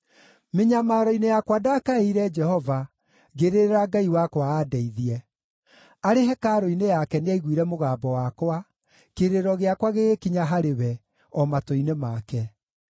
Mĩnyamaro-inĩ yakwa ndakaĩire Jehova; ngĩrĩrĩra Ngai wakwa aandeithie. Arĩ hekarũ-inĩ yake nĩ aaiguire mũgambo wakwa; kĩrĩro gĩakwa gĩgĩkinya harĩ we, o matũ-inĩ make.